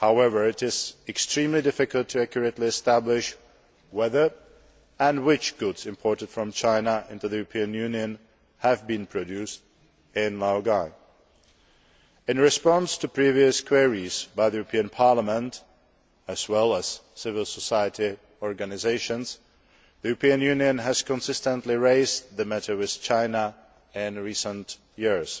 However, it is extremely difficult to accurately establish whether and which goods imported from China into the European Union have been produced in laogai. In response to previous queries by the European Parliament as well as civil society organisations the European Union has consistently raised the matter with China in recent years,